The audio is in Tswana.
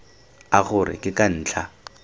a gore ke ka ntlha